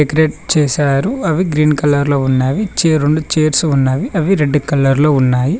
Create చేశారు అవి green colour లో ఉన్నవి చే రెండు చేర్స్ ఉన్నవి అవి రెడ్ కలర్లో ఉన్నాయి.